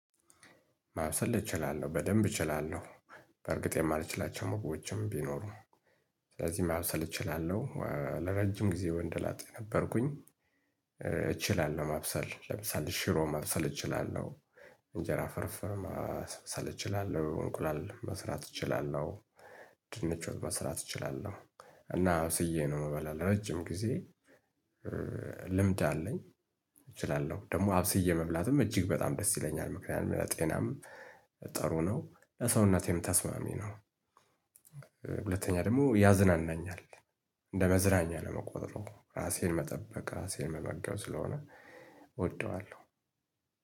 ማብሰል እችላለሁ በደንብ እችላለሁ በእርግጥ የማልችላቸው ሞግቦችም ቢኖሩም ስለዚህ ማብሰል እችላለሁ ለረጅም ጊዜ ወንድ ላጤ ነበርኩኝ እችላለሁ ማብሰል ለምሳሌ ሽሮ ማብሰል እችላለሁ እንጀራ ፍርፍር ማብሰል እችላለሁ፣ እንቁላል መስራት እችላለሁ ድንች ወጥ መስራት እችላለሁ እና አብስዬ ነው ምበላ ለረጅም ጊዜ ልምድ አለኝ እችላለሁ ደግሞ አብስዬ መብላትም እጅግ በጣም ደስ ይለኛል ምክንያቱም ለጤናም ጥሩ ነው ለሰውነቴም ተስማሚ ነው። ሁለተኛ ደግሞ ያዝናናኛል እንደ መዝናኛ ነው የምቆጥረው ራሴን መጠበቅ ራሴን መመገብ ስለሆነ እወደዋለሁ።